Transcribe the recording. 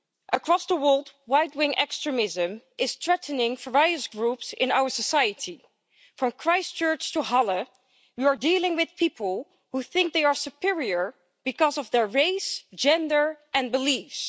Across the world, right wing extremism is threatening various groups in our society from Christchurch to Halle, you are dealing with people who think they are superior because of their race, gender and beliefs.